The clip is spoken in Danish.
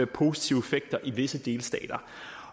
positive effekter i visse delstater